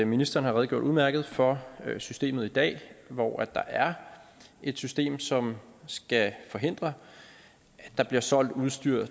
ministeren har redegjort udmærket for systemet i dag hvor der er et system som skal forhindre at der bliver solgt udstyr